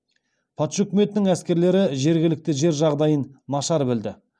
патша үкіметінің әскерлері жергілікті жер жағдайын нашар білді